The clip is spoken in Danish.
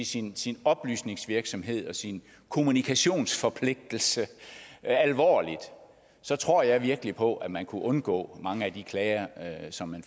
sin sin oplysningsvirksomhed og sin kommunikationsforpligtelse alvorligt så tror jeg virkelig på at man kunne undgå mange af de klager som man